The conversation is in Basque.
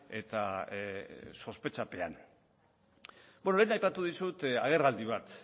eta sospetxapean beno lehen aipatu dizut agerraldi bat